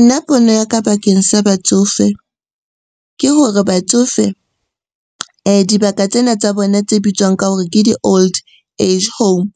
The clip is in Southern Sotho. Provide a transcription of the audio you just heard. Nna pono ya ka bakeng sa batsofe ke hore batsofe dibaka tsena tsa bona tse bitswang ka hore ke di-old age home